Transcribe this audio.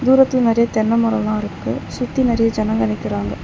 தூரத்துல நெறைய தென்னமரோலாருக்கு சுத்தி நெறைய ஜனங்க நிக்கிறாங்க.